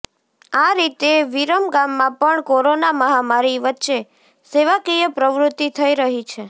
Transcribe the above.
આ રીતે વિરમગામમાં પણ કોરોના મહામારી વચ્ચે સેવાકીય પ્રવૃતિ થઈ રહી છે